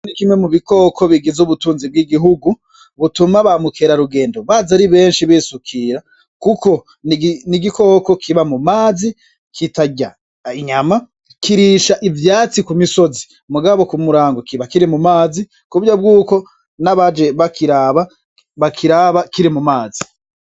Kimwe mu bikoko bigize ubutunzi bw'igihugu bituma ba mukera rugendo baza ari benshi bisukira kuko ni igikoko kiba mu mazi kitarya inyama kirisha ivyatsi ku misozi, muga kumurango kiba kiri mu mazi ku buryo bw'uko nabaje bakiraba bakiraba kiri mu mazi.